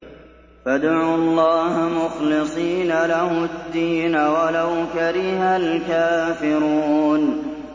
فَادْعُوا اللَّهَ مُخْلِصِينَ لَهُ الدِّينَ وَلَوْ كَرِهَ الْكَافِرُونَ